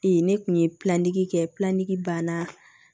ne kun ye kɛ ban na